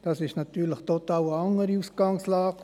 Das ist natürlich eine total andere Ausgangslage.